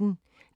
DR P1